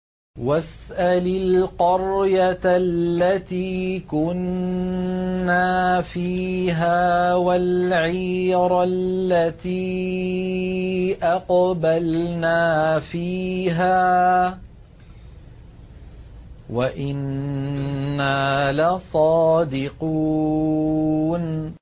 وَاسْأَلِ الْقَرْيَةَ الَّتِي كُنَّا فِيهَا وَالْعِيرَ الَّتِي أَقْبَلْنَا فِيهَا ۖ وَإِنَّا لَصَادِقُونَ